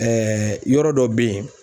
yɔrɔ dɔ bɛ ye